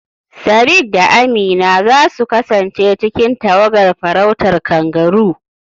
Sadiq da Amina za su kasance cikin tawagar farautar kangaroo